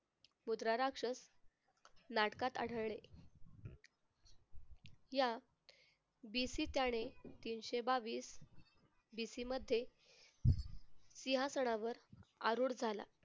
मुद्रा राक्षस नाटकात आढळले. या तीनशे बावीस BC मध्ये सिंहासनावर आरुढ झाला.